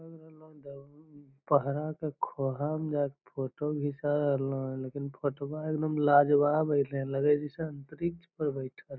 पहड़ा के खोहा में जाके फोटो घीचा रहलो लेकिन फोटवा एकदम लाजवाब अईले लगे हई जइसे अंतरिछ पे बइठल हई |